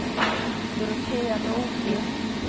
Dorotea Nordlund